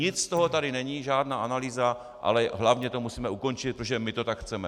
Nic z toho tady není, žádná analýza, ale hlavně to musíme ukončit, protože my to tak chceme!